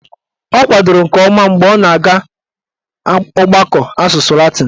Ọ kwadoro nke ọma mgbe ọ na-aga ọgbakọ asụsụ latịn